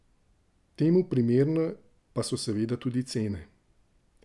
Temu primerne pa so seveda tudi cene.